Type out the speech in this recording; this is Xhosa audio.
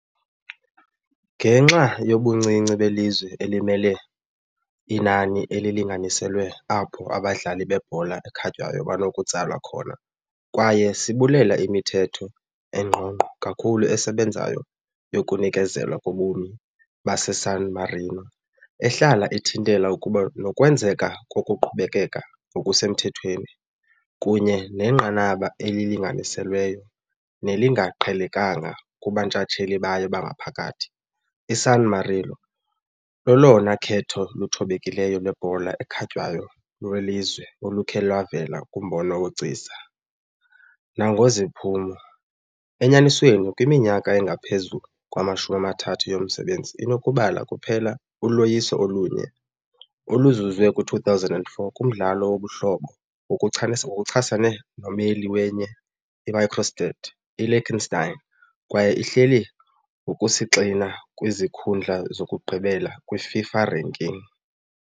Ngenxa yobuncinci belizwe elimele, inani elilinganiselweyo apho abadlali bebhola ekhatywayo banokutsalwa khona, kwaye sibulela imithetho engqongqo kakhulu esebenzayo yokunikezelwa kobumi baseSan Marino, ehlala ithintela ukuba nokwenzeka kokuqhubekeka ngokusemthethweni, kunye nenqanaba elilinganiselweyo nelingaqhelekanga kubuntshatsheli bayo bangaphakathi, iSan Marino lolona khetho luthobekileyo lwebhola ekhatywayo lwelizwe olukhe lwavela kumbono wobugcisa nangokweziphumo enyanisweni, kwiminyaka engaphezu kwamashumi amathathu yomsebenzi, inokubala kuphela uloyiso olunye, oluzuzwe kwi-2004 kumdlalo wobuhlobo ngokuchasene nommeli wenye i-microstate, I-Liechtenstein, kwaye ihleli ngokusisigxina kwizikhundla zokugqibela kwi-FIFA ranking .